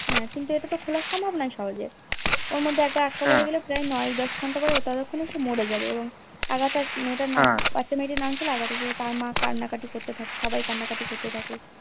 কিন্তু ইটা তো খোলা সম্ভ না সহজে ওর মধ্যে আটক আটক পরে গেলে নয় দশ ঘন্টা পরে ততক্ষণে সে মরে যাবে এবং আগাথা মেয়েটার নাম তার মা কান্নাকাটি করতে থাকে সবাই কান্না কাটি করতে থাকে